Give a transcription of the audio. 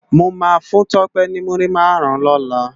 Mó má fún Tope ni múri márùn lòlá